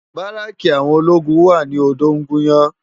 Báráki áwòn ólógún wá ni Odogunyan